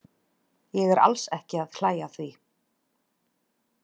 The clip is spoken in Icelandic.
Ég er alls ekki að hlæja að því.